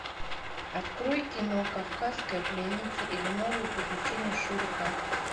открой кино кавказская пленница или новые приключения шурика